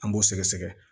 An b'o sɛgɛsɛgɛ